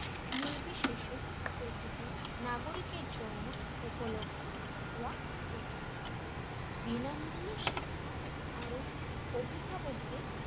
নির্বিশেষে প্রতিটি নাগরিকের জন্য উপলব্ধ হওয়া উচিত বিনামূল্য শিক্ষা আরো অভিভাবকদের,